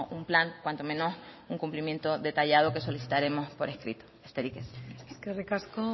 un plan cuanto menos un cumplimiento detallado que solicitaremos por escrito besterik ez eskerrik asko